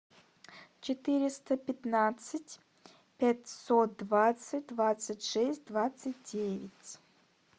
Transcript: четыреста пятнадцать пятьсот двадцать двадцать шесть двадцать девять